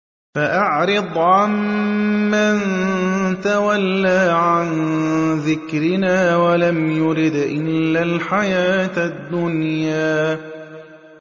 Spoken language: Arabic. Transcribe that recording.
فَأَعْرِضْ عَن مَّن تَوَلَّىٰ عَن ذِكْرِنَا وَلَمْ يُرِدْ إِلَّا الْحَيَاةَ الدُّنْيَا